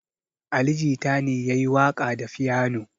Ali Jita ne ya yi waƙa da fiyano.